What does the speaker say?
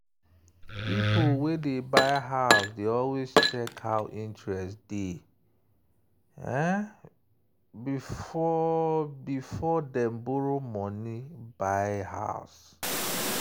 people wey dey buy house dey always check how interest dey be before dem borrow money buy house.